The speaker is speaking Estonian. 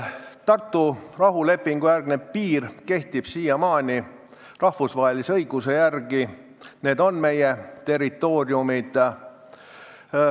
Tartu rahulepingu järgne piir kehtib siiamaani, rahvusvahelise õiguse järgi on see meie territoorium.